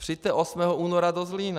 Přijďte 8. února do Zlína.